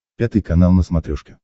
пятый канал на смотрешке